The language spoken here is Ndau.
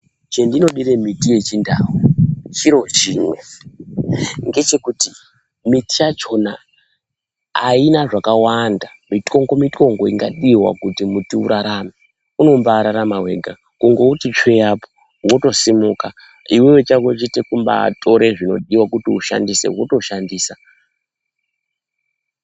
Chendinodire miti yechindau chiro chimwe, ngechekuti miti yachona haina zvakawanda mityongo-mityongo ingadiwa kuti muti urarame, unombaararama wega, kungouti tsvee apo, wotosimuka. Iwewe chako vhete kumbaatore zvinodiwa kuti ushandise wotoshandisa.